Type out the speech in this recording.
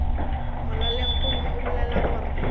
molaleng gomme o bolela gore